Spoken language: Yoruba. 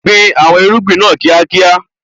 Gbin àwọn irúgbìn náà ní kíákíá.